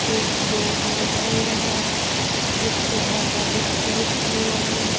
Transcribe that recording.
एक बोर्ड लगा हुआ है जिसपे पापा विस्की लिखा हुआ है।